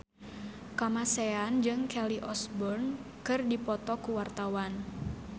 Kamasean jeung Kelly Osbourne keur dipoto ku wartawan